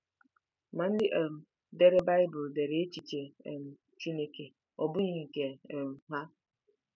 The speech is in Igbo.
Ma ndị um dere Baịbụl dere echiche um Chineke ọ bụghị nke um ha.